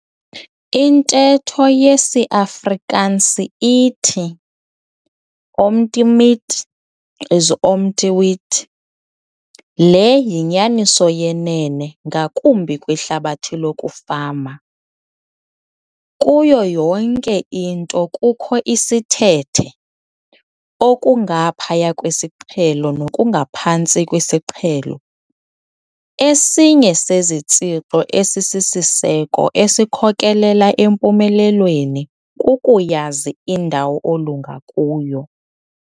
INTETHO YESIAFRIKANSI ITHI- 'OM TE MEET, IS OM TE WEET'. LE YINYANISO YENENE NGAKUMBI KWIHLABATHI LOKUFAMA. KUYO YONKE INTO KUKHO ISITHETHE, OKUNGAPHAYA KWISIQHELO NOKUNGAPHANTSI KWISIQHELO. ESINYE SEZITSHIXO EZISISISEKO ESIKHOKELELA EMPUMELELWENI KUKUYAZI INDAWO OLUNGA KUYO.